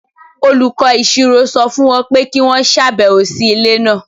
Olùkọ́ Ìṣirò sọ fún wọn pé kí wọ́n ṣàbẹ̀wò sí ilé náà.